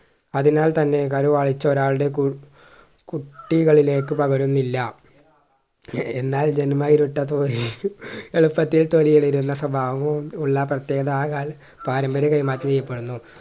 അതിനാൽ തന്നെ കരുവാളിച്ച ഒരാളുടെ കു കുട്ടികളിലേക്ക് പകരുന്നില്ല എന്നാൽ ജന്മ ഇരുട്ടത്തോലെ എളുപ്പത്തിൽ തൊലിയിളരുന്ന സ്വഭാവവും ഉള്ള പ്രത്യേകാ പാരമ്പര്യ കൈമാറ്റം ചെയ്യപ്പെടുന്നു